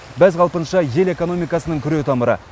бәз қалпынша ел экономикасының күре тамыры